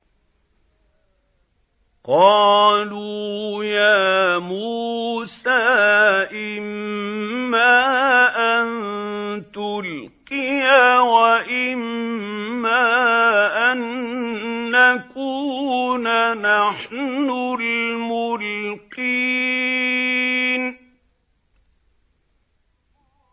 قَالُوا يَا مُوسَىٰ إِمَّا أَن تُلْقِيَ وَإِمَّا أَن نَّكُونَ نَحْنُ الْمُلْقِينَ